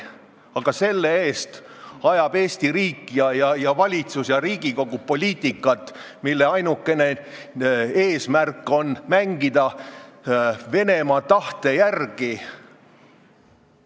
Aga selle asemel ajab Eesti riik, valitsus ja Riigikogu poliitikat, mille ainukene eesmärk on mängida Venemaa tahte järgi.